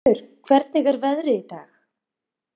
Pálmfríður, hvernig er veðrið í dag?